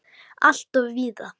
Alltof víða!